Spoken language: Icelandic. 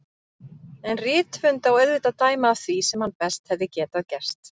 En rithöfund á auðvitað að dæma af því sem hann best hefði getað gert.